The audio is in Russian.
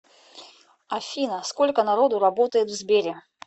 афина сколько народу работает в сбере